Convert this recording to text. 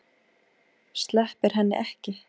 Sleppir henni ekki.